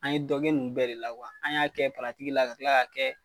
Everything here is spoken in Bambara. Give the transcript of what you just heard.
An ye dɔ kɛ ninnu bɛɛ de la kuwa, an y'a kɛ paratigi la ka tila k'a kɛ